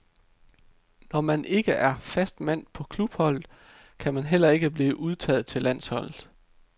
Når man ikke er fast mand på klubholdet, kan man heller ikke blive udtaget til landholdet.